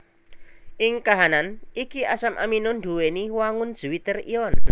Ing kahanan iki asam amino nduwèni wangun zwitter ion